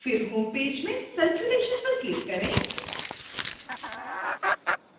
फिर home page में circulation पर click करें